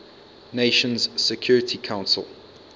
nations security council